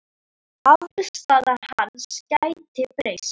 Afstaða hans gæti breyst.